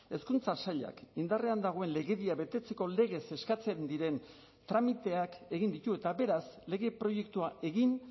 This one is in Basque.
hezkuntza sailak indarrean dagoen legedia betetzeko legez eskatzen diren tramiteak egin ditu eta beraz lege proiektua egin